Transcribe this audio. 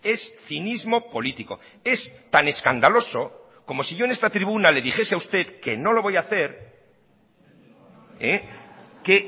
es cinismo político es tan escandaloso como si yo en esta tribuna le dijese a usted que no lo voy hacer que